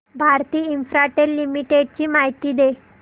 Bharti Infratel limited ची माहिती दे